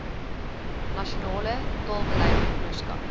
nasionale taalbeleid onderskat